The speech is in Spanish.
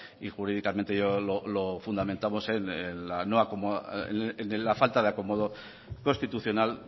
y jurídicamente yo lo fundamentamos en la falta de acomodo constitucional